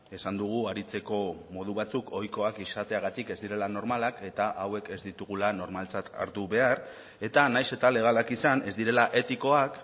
esan dugu aritzeko modu batzuk ohikoak izateagatik ez direla normalak eta hauek ez ditugula normaltzat hartu behar eta nahiz eta legalak izan ez direla etikoak